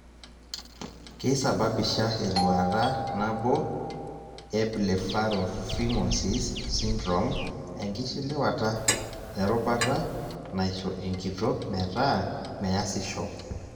keisababisha eluata nabo e Blepharophimosis syndrome enkishiliwata e rubata naisho enkitok metaa measisho.